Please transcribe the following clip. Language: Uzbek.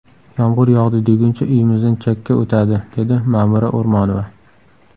Yomg‘ir yog‘di deguncha uyimizdan chakka o‘tadi”, dedi Ma’mura O‘rmonova.